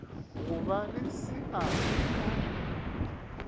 go ba le seabe ka